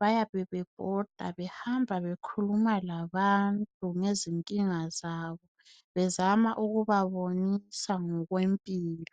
bayabe bebhoda behamba bekhuluma labantu ngezinkinga zabo bezama ukubabonisa ngokwempilo.